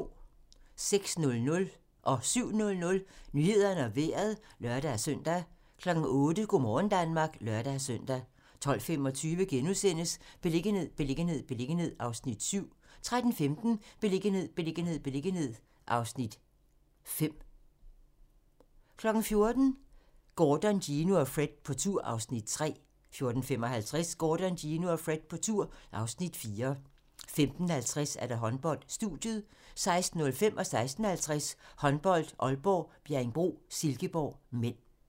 06:00: Nyhederne og Vejret (lør-søn) 07:00: Nyhederne og Vejret (lør-søn) 08:00: Go' morgen Danmark (lør-søn) 12:25: Beliggenhed, beliggenhed, beliggenhed (Afs. 7)* 13:15: Beliggenhed, beliggenhed, beliggenhed (Afs. 5) 14:00: Gordon, Gino og Fred på tur (Afs. 3) 14:55: Gordon, Gino og Fred på tur (Afs. 4) 15:50: Håndbold: Studiet 16:05: Håndbold: Aalborg - Bjerringbro-Silkeborg (m) 16:50: Håndbold: Aalborg - Bjerringbro-Silkeborg (m)